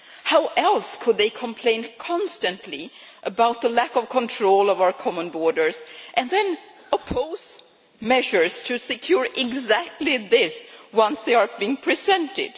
How else could they complain constantly about the lack of control of our common borders and then oppose measures to secure exactly this once they have been presented?